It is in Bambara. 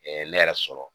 ne yɛrɛ sɔrɔ